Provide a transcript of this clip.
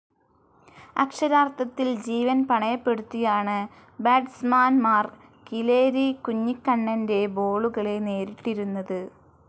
അക്ഷരാർത്ഥത്തിൽ ജീവൻ പണയപ്പെടുത്തിയാണ് ബാറ്റ്സ്മാൻമാർ കീലേരി കുഞ്ഞിക്കണ്ണൻ്റെ ബോളുകളെ നേരിട്ടിരുന്നത്.